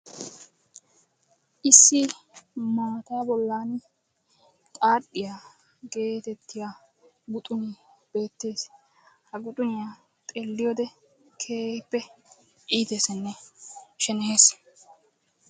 Issi maata bollan xaaxxiya getettiya guxune beettees. Ha guxuniyaa xeelliyoode keehippe iitteessinne sheneyees.